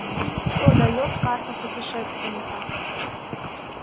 что даёт карта путешественника